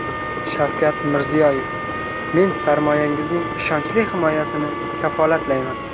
Shavkat Mirziyoyev: Men sarmoyangizning ishonchli himoyasini kafolatlayman.